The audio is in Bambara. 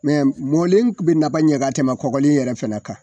mɔlen be naba ɲɛ ka tɛmɛ kɔgɔlen yɛrɛ fɛnɛ kan.